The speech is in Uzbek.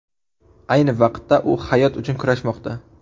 Ayni vaqtda u hayot uchun kurashmoqda.